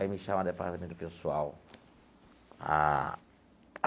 Aí me chamam no departamento pessoal. Ah.